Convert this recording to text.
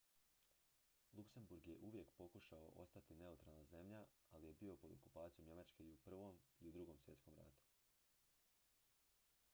luxembourg je uvijek pokušavao ostati neutralna zemlja ali je bio pod okupacijom njemačke i u i i u ii svjetskom ratu